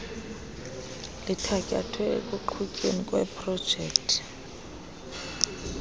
lithatyathwe ekuqhutyweni kweeprojekthi